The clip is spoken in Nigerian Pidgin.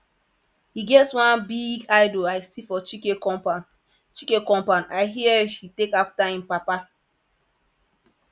e get one big idol i see for chike compound chike compound i hear he take after im papa